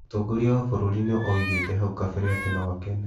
Mũtongoria wa bũrũri nĩ oigĩte hau kabere atĩ no akene